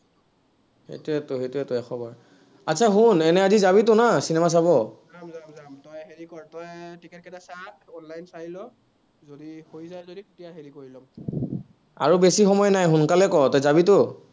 সেইটোৱেতো সেইটোৱতো এশবাৰ। শুন, এনেই আজি যাবিতো না cinema চাব আৰু বেছি সময় নাই, সোনকালে ক, তই যাবিতো।